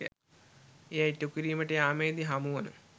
එය ඉටුකිරීමට යාමේදී හමුවන